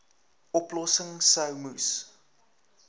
oplossings sou moes